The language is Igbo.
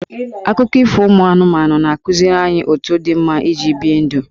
Akụkọ ifo ụmụ anụmanụ na-akụziri anyị otu dị mma iji bie ndụ.